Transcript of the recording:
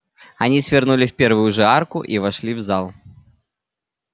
они свернули в первую же арку и вошли в зал